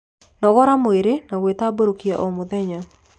Nogora mwĩrĩ na gwitamburukia o mũthenya